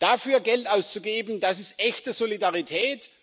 Dafür Geld auszugeben, das ist echte Solidarität.